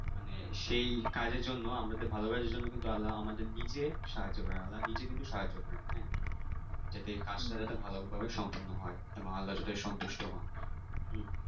মানে সেই কাজের জন্য আমাদের ভাল কাজের জন্য কিন্তু আল্লাহ আমাদের নিজে সাহায্য করে আল্লাহ নিজে কিন্তু সাহায্য করেন হ্যাঁ যাতে কাজটা যাতে ভালো ভাবে সম্পর্ণ হয় সন্তুষ্ট হন হম